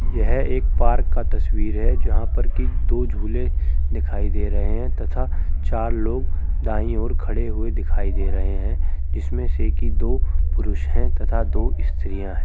यह एक पार्क का तस्वीर है। जहाँ पर की दो झूले दिखाई दे रहे हैं तथा चार लोग दाएँ ओर खड़े हुए दिखाई दे रहे हैं। इसमें से की दो पुरुष हैं तथा दो स्त्रीयाँ हैं।